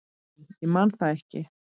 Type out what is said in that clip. Nei, ég man það ekki.